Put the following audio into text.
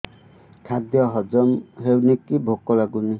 ଖାଦ୍ୟ ହଜମ ହଉନି କି ଭୋକ ଲାଗୁନି